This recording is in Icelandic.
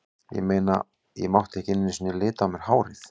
Ég meina, ég mátti ekki einu sinni lita á mér hárið.